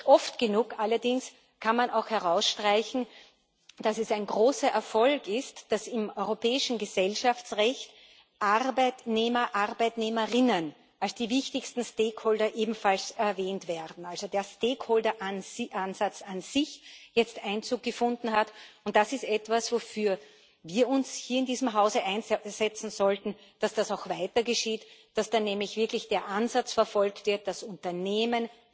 Nicht oft genug allerdings kann man auch herausstreichen, dass es ein großer Erfolg ist, dass im europäischen Gesellschaftsrecht Arbeitnehmer Arbeitnehmerinnen als die wichtigsten Stakeholder ebenfalls erwähnt werden also der Stakeholder Ansatz an sich jetzt Einzug gefunden hat. Das ist etwas, wofür wir uns hier in diesem Hause einsetzen sollten, dass das auch weiter geschieht und dass da auch wirklich der Ansatz verfolgt wird, dass Unternehmen